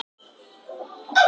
"""Já, ég geri ráð fyrir því."""